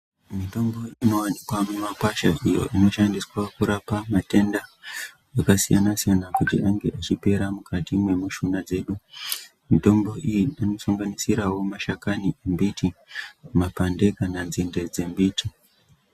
Mitombo inowanikwa mumakwasha, iyo inoshandiswa kurapa matenda akasiyana-siyana, kuti ange achipera mukati mwemushuna dzedu. Mitombo iyi inosanganisirawo mashakani embiti; mapande; kana nzinde dzembiti.